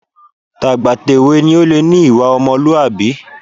Tàgbàtèwe ni ó lè ní ìwà ọmọlúwàbí